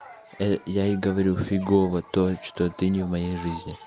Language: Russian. а я ей говорю фигово то что ты не в моей жизни